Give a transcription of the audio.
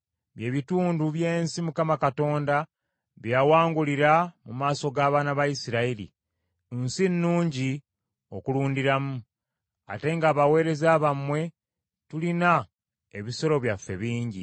bye bitundu by’ensi Mukama Katonda gye yawangulira mu maaso g’abaana ba Isirayiri, nsi nnungi okulundiramu; ate ng’abaweereza bammwe tulina ebisolo byaffe bingi.”